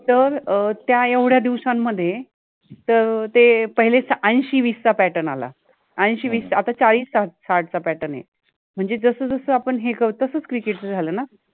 तर त्या एवढ्या दिवसामधे त ते पहिलेस अंशि विस चा pattern आला अंशि विस चा आता चाळिस साठ चा pattern आहे, मनजे जस जस आपन हे करु तसच cricket च झाल आहे